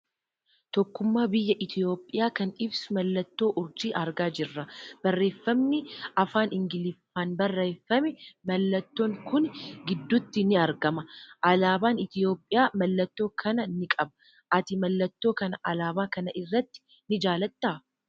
Tokkummaa biyya Itoophiyaa kan ibsu mallatoo Urjii argaa jirra. Barreeffamni afaan Ingiliffaan barreeffamee mallattoon kun gidduutti ni argama. Alaabaan Itoophiyaa mallattoo kana ni qaba. Ati mallattoo kana Alaabaa kana irratti ni jaalattaa?